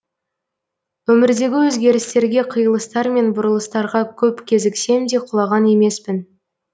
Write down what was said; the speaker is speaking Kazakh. өмірдегі өзгерістерге қиылыстар мен бұрылыстарға көп кезіксем де құлаған емеспін